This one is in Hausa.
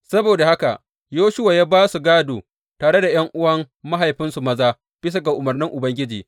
Saboda haka Yoshuwa ya ba su gādo tare da ’yan’uwan mahaifinsu maza bisa ga umarnin Ubangiji.